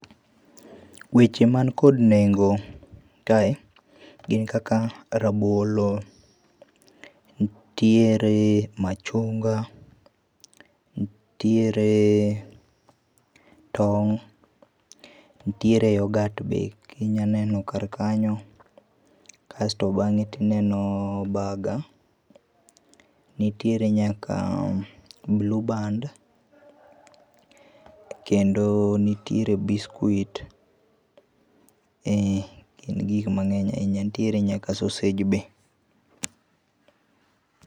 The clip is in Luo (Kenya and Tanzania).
Weche man kod nengo kae gin kaka rabolo, nitiere machunga, nitiere tong', nitiere yorghurt be ki inya neno kar kanyo, kasto bange ineno burger, nitiere nyaka blueband kendo nitiere biscuit, en gik mang'eny ahinya, nitiere nyaka sausage be.